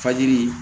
Fajiri